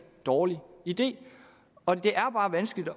dårlig idé og det er bare vanskeligt